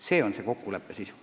See on kõnealuse kokkuleppe sisu.